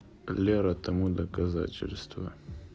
лера тому доказательство